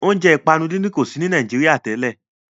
Óúnjẹ ìpanu dídín kò sí ní Nàìjíría tẹ́lẹ̀